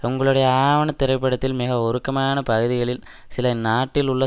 உங்களுடைய ஆவண திரைப்படத்தில் மிக உருக்கமான பகுதிகளில் சில நாட்டிலுள்ள